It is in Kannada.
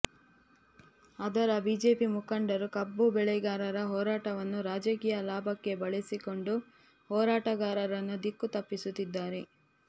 ಆದರೆ ಬಿಜೆಪಿ ಮುಖಂಡರು ಕಬ್ಬು ಬೆಳೆಗಾರರ ಹೋರಾಟವನ್ನು ರಾಜಕೀಯ ಲಾಭಕ್ಕೆ ಬಳಸಿಕೊಂಡು ಹೋರಾಟಗಾರರನ್ನು ದಿಕ್ಕು ತಪ್ಪಿಸುತ್ತಿದ್ದಾರೆ